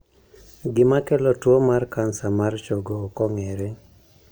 Gima kelo tuwo mar kansa mar chogo ok ong'ere.